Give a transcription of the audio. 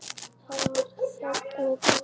Það var þögn við borðið.